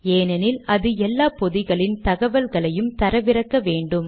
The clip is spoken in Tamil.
ஏனெனில் அது எல்லா பொதிகளின் தகவல்களையும் தரவிறக்க வேண்டும்